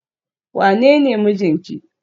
wanene mijinki?